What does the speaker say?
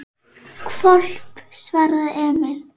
Hvolp, svaraði Emil.